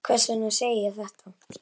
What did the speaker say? Hvers vegna segi ég þetta?